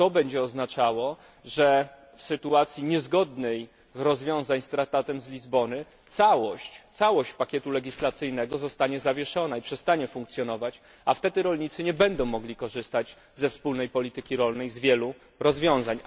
A to będzie oznaczało, że w sytuacji zastosowania rozwiązań niezgodnych z Traktatem z Lizbony całość pakietu legislacyjnego zostanie zawieszona i przestanie funkcjonować, a wtedy rolnicy nie będą mogli korzystać ze wspólnej polityki rolnej, z wielu rozwiązań.